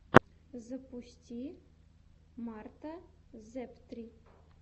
запусти марта зэптри